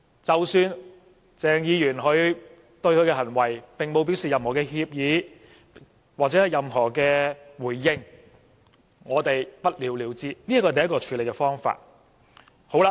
即使鄭議員並沒有對他的行為表示任何歉意，或作出任何回應，也不了了之，這是第一個處理方法。